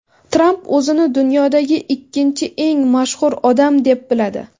Tramp o‘zini dunyodagi ikkinchi eng mashhur odam deb biladi.